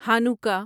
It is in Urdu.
ہانوکا